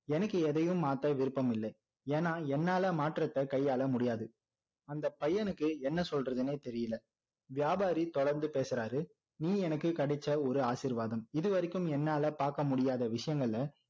எனக்கு எதையும் மாத்த விருப்பம் இல்லை ஏன்னா என்னால மாற்றத்தை கையாள முடியாது அந்த பையனுக்கு என்ன சொல்றதுன்னே தெரியல வியாபாரி தொடர்ந்து பேசுறாரு நீ எனக்கு கிடைச்ச ஒரு ஆசிர்வாதம் இது வரைக்கும் என்னால பார்க்க முடியாத விஷயங்கள